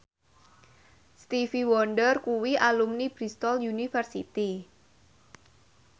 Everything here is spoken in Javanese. Stevie Wonder kuwi alumni Bristol university